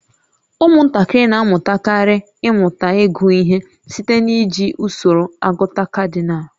Ụmụntakịrị na-amalitekarị ịmụta ịgụ ihe site n'iji usoro agụta kadinal